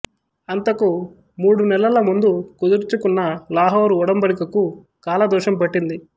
అంతకు మూడు నెలల ముందు కుదుర్చుకున్న లాహోరు ఒడంబడికకు కాలదోషం పట్టింది